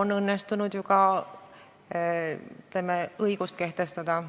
on õnnestunud ju ka õigust kehtestada.